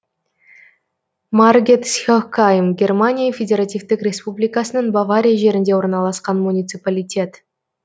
маргетсхехгайм германия федеративтік республикасының бавария жерінде орналасқан муниципалитет